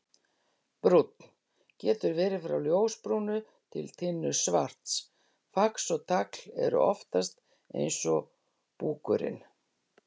Brúnn: Getur verið frá ljósbrúnu til tinnusvarts, fax og tagl eru oftast eins og búkurinn.